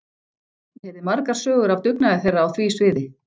Ég heyrði margar sögur af dugnaði þeirra á því sviði.